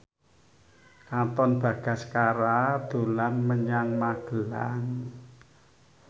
Katon Bagaskara dolan menyang Magelang